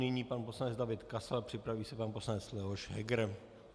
Nyní pan poslanec David Kasal, připraví se pan poslanec Leoš Heger.